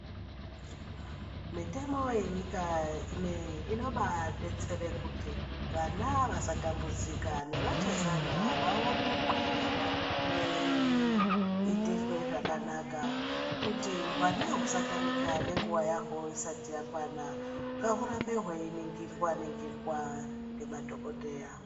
Mitemo yenyika inobadetsere kuti vana vasatambudzika nevachazana vaonekwe vei itirwe zvakanaka kuti hwana hwusatamika nenguwa yahwo isati yakwana ngahwurambe hweiningirwa ningirwa ngemadhokodheya.